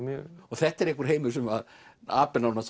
þetta er einhver heimur sem